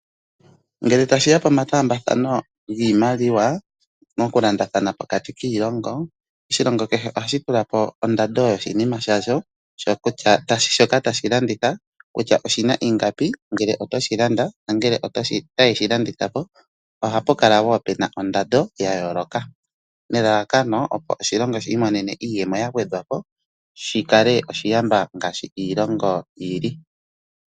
Ngele tashiya pomataambathano giimaliwa mokulandathana pokati kiilongo, Oshilongo kehe ohashi tula po ondando yoshinima shasho shoka tashi landithwa kutya oshina iingapi nangele otoshi landa nenge toshi landitha po, ohapu kala puna ondando ya yooloka nelalakano opo oshilongo shi imonene iimaliwa shi kale oshiyamba ngaashi Iilongo yili.